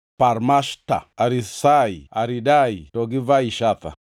Parmashta, Arisai, Aridai, to gi Vaizatha,